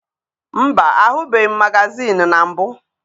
Mba, ahụbeghị m magazịịnụ na mbụ.